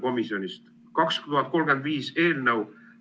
"Rahvastikupoliitika põhialused 2035" eelnõu.